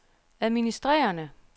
administrerende